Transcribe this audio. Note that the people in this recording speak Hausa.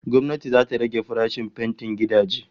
Gwamnati zata rage farashin fentin gidaje